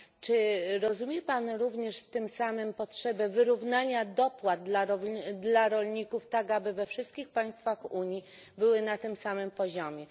Czy rozumie Pan również tym samym potrzebę wyrównania dopłat dla rolników, tak aby we wszystkich państwach Unii były na tym samym poziomie?